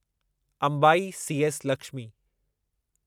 Ambai CS Lakshmi